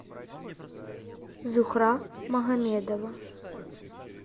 зухра магомедова